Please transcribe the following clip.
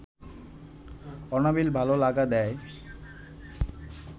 অনাবিল ভালো লাগা দেয়